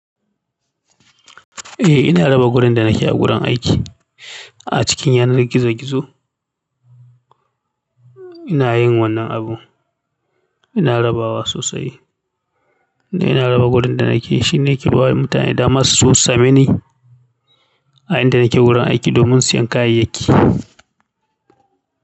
Eh ina raba gurin da nake a gurin aiki a cikin yanar gizo gizo. Ina yin wannan abu, ina rabawa sosai. Ina raba gurin da nake. Shi ne ke ba wa mutane dama su sosu same ni a inda nake gurin aiki domin siyan kayayyaki.